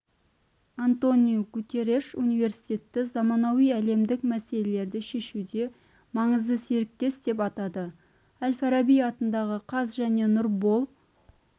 антониу гутерреш университетті заманауи әлемдік мәселелерді шешуде маңызды серіктес деп атады әл-фараби атындағы қаз және нұрбол